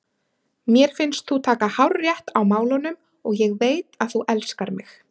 Mér finnst þú taka hárrétt á málunum og ég veit að þú elskar mig.